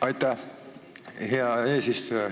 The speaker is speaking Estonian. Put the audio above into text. Aitäh, hea eesistuja!